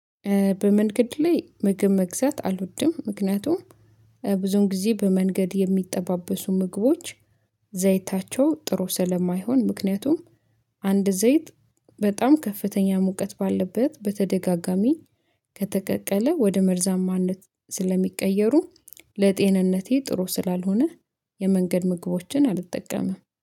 በመንገድ ላይ ምግብ መግዛት አልወድም። ምክንያቱም ብዙውን ጊዜ በመንገድ የሚጠባበሱ ምግቦች ዘይታቸው ጥሩ ስለማይሆን። ምክንያቱም አንድ ዘይት በጣም ከፍተኛ ሙቀት ባለበት በተደጋጋሚ ከተቀቀለ ወደ መርዛማነት ስለሚቀየሩ ለጤንነቴ ጥሩ ስላልሆነ። የመንገድ ምግቦችን አልጠቀምም